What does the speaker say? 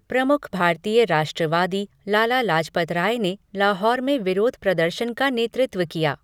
प्रमुख भारतीय राष्ट्रवादी, लाला लाजपत राय ने लाहौर में विरोध प्रदर्शन का नेतृत्व किया।